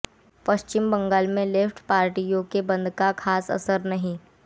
पश्चिम बंगाल में लेफ्ट पार्टियों के बंद का खास असर नहीं